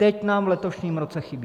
Teď nám v letošním roce chybí!